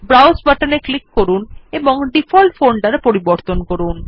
browse button এ click করুন এবং ডিফল্ট ফোল্ডার পরিবর্তন করে করুন